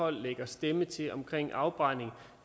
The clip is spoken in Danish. poll lægger stemme til omkring afbrænding